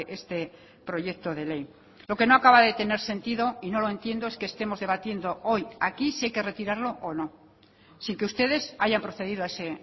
este proyecto de ley lo que no acaba de tener sentido y no lo entiendo es que estemos debatiendo hoy aquí si hay que retirarlo o no sin que ustedes hayan procedido a ese